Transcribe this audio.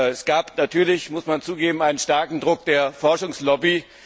Es gab natürlich das muss man zugeben einen starken Druck der Forschungslobby.